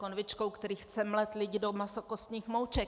Konvičkou, který chce mlet lidi do masokostních mouček!